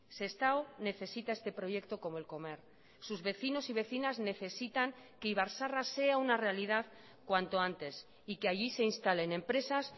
sestao necesita este proyecto como el comer sus vecinos y vecinas necesitan que ibar zaharra sea una realidad cuanto antes y que allí se instalen empresas